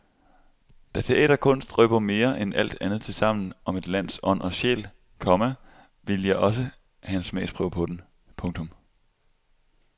Da teaterkunst røber mere end alt andet tilsammen om et lands ånd og sjæl, komma ville jeg også have en smagsprøve på den. punktum